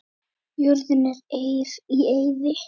Jörðin er í eyði.